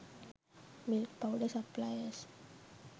milk powder suppliers